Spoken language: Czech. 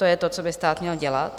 To je to, co by stát měl dělat.